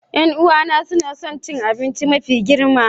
Yan'uwana suna son cin abinci mafi girma.